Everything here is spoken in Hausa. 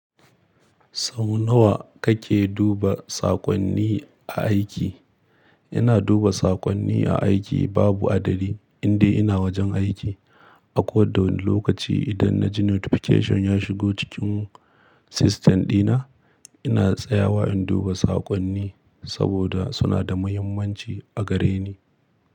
Sau nawa kake duba saƙonni a aiki? Ina duba saƙonni a aiki babu adadi, indai ina wajen aiki. Ako da wani lokaci idan na ji notification ya shigo cikin system dina, ina tsayawa in duba saƙonni saboda suna da muhimmanci a gareni.